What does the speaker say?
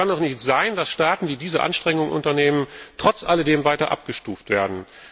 Es kann doch nicht sein, dass Staaten, die diese Anstrengungen unternehmen, trotz alledem weiter abgestuft werden.